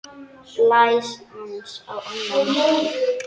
Blés aðeins á annað markið.